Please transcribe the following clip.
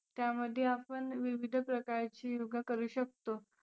त्यामध्ये आपण विविध प्रकारची योगा करू शकतो.